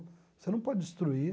Você não pode destruir.